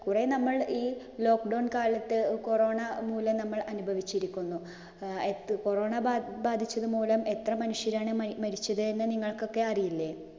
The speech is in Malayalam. കുറെ നമ്മൾ ഈ lockdown കാലത്ത് corona മൂലം നമ്മൾ അനുഭവിച്ചിരിക്കുന്നു. corona ബാധിച്ചത് മൂലം എത്ര മനുഷ്യരാണ് മരിച്ചതെന്ന് നിങ്ങൾക്കൊക്കെ അറിയില്ലേ?